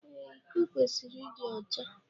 Ee, iko kwesịrị ịdị ọcha